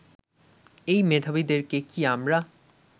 এই মেধাবীদেরকে কি আমরা